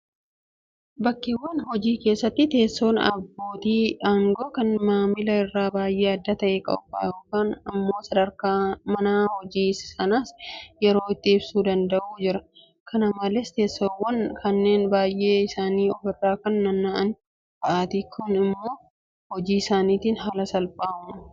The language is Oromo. Bakkeewwan hojii keessatti teessoon abbootii aangoo kan maamilaa irraa baay'ee adda ta'ee qophaa'a. Kun immoo sadarkaa mana hojii sanaas yeroon itti ibsuu danda'u jira. Kana malees teessoowwan kunneen baay'een isaanii ofirra kan naanna'an fa'aati. Kun immoo hojii isaniitiif haala salphaa uuma.